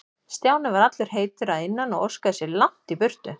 Stjáni var allur heitur að innan og óskaði sér langt í burtu.